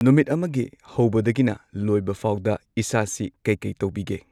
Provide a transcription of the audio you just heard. ꯅꯨꯃꯤꯠ ꯑꯃꯒꯤ ꯍꯧꯕꯗꯒꯤꯅ ꯂꯣꯏꯕꯐꯥꯎꯗ ꯏꯁꯥꯁꯤ ꯀꯩ ꯀꯩ ꯇꯧꯕꯤꯒꯦ